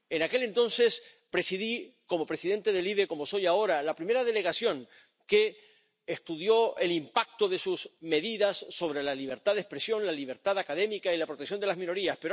En aquel entonces presidí, como presidente de la Comisión LIBE, como soy ahora, la primera delegación que estudió el impacto de sus medidas sobre la libertad de expresión, la libertad académica y la protección de las minorías.